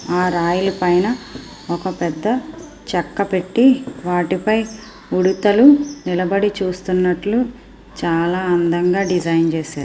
రాయల పైన ఒక పెద్ద చెక్క పెట్టి వాటి పైన ఉడతలు నిలబడి చూస్తున్నట్టు చాలా అందంగా డిజైన్ చేశారు.